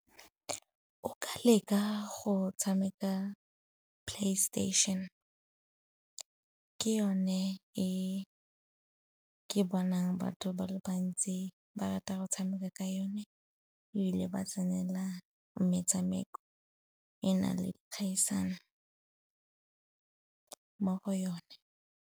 O ka leka go tshameka PlayStation. Ke yone e ke bonang batho ba le bantsi ba rata go tshameka ka yone ebile ba tsenela metshameko, e nang le kgaisano mo go yone.